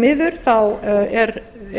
miður